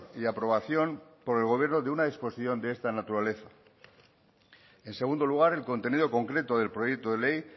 y aprobación por el gobierno de una exposición de esta naturaleza en segundo lugar el contenido concreto del proyecto de ley